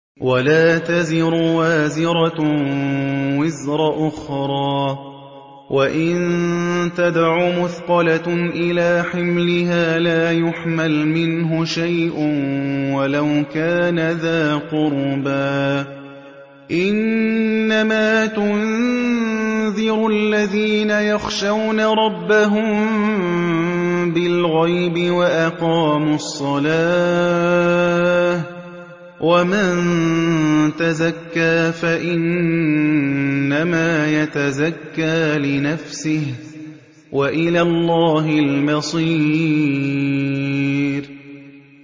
وَلَا تَزِرُ وَازِرَةٌ وِزْرَ أُخْرَىٰ ۚ وَإِن تَدْعُ مُثْقَلَةٌ إِلَىٰ حِمْلِهَا لَا يُحْمَلْ مِنْهُ شَيْءٌ وَلَوْ كَانَ ذَا قُرْبَىٰ ۗ إِنَّمَا تُنذِرُ الَّذِينَ يَخْشَوْنَ رَبَّهُم بِالْغَيْبِ وَأَقَامُوا الصَّلَاةَ ۚ وَمَن تَزَكَّىٰ فَإِنَّمَا يَتَزَكَّىٰ لِنَفْسِهِ ۚ وَإِلَى اللَّهِ الْمَصِيرُ